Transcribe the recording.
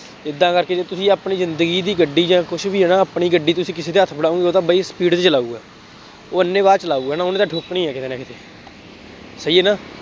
ਏਦਾਂ ਕਰਕੇ ਜਦੋਂ ਤੁਸੀਂ ਆਪਣੀ ਜ਼ਿੰਦਗੀ ਦੀ ਗੱਡੀ ਜਾਂ ਕੁੱਛ ਵੀ ਹੈ ਨਾ, ਆਪਣੀ ਗੱਡੀ ਤੁਸੀਂ ਕਿਸੇ ਦੇ ਹੱਥ ਫੜਾਉਗੇ, ਉਹ ਤਾਂ ਬਈ speed ਤੇ ਚਲਾਊਗਾ, ਉਹ ਅੰਨ੍ਹੇਵਾਹ ਚਲਾਊਗਾ, ਨਾ, ਉਹਨੇ ਤਾਂ ਠੋਕਣੀ ਹੈ, ਕਿਤੇ ਨਾ ਕਿਤੇ, ਸਹੀ ਹੈ ਨਾ,